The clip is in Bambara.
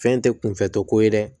Fɛn tɛ kunfɛtɔ ko ye dɛ